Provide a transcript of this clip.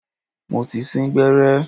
Mo ti sín gbẹ́rẹ́.